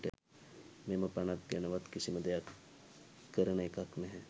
මෙම පනත ගැනවත් කිසිම දෙයක් කරන එකක් නැහැ.